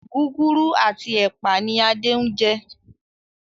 Gúgúrú ati ẹpa ní Ade njé.